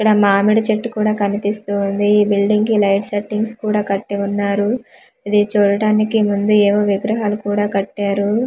ఇక్కడ మామిడి చెట్టు కూడ కనిపిస్తూవుంది ఈ బిల్డింగ్ కి లైట్ సెట్టింగ్స్ కూడా కట్టి వున్నారు ఇది చూడడానికి ముందు ఏవో విగ్రహాలు కూడా కట్టారు .]